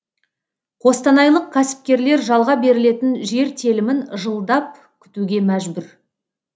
қостанайлық кәсіпкерлер жалға берілетін жер телімін жылдап күтуге мәжбүр